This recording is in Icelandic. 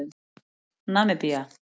Namibía